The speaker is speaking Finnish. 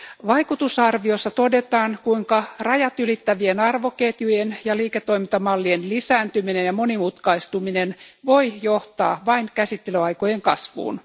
Vaikutusarviossa todetaan, kuinka rajat ylittävien arvoketjujen ja liiketoimintamallien lisääntyminen ja monimutkaistuminen voi johtaa vain käsittelyaikojen kasvuun.